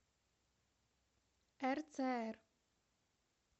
рцр